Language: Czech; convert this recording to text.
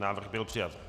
Návrh byl přijat.